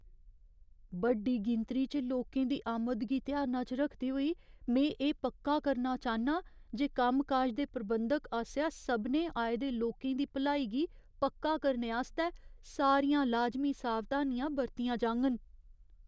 बड्डी गिनती च लोकें दी आमद गी ध्याना च रखदे होई, में एह् पक्का करना चाह्न्नां जे कम्मकाज दे प्रबंधक आसेआ सभनें आए दे लोकें दी भलाई गी पक्का करने आस्तै सारियां लाजमी सावधानियां बरतियां जाङन।